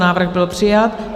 Návrh byl přijat.